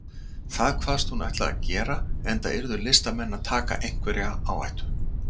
Það kvaðst hún ætla að gera, enda yrðu listamenn að taka einhverja áhættu.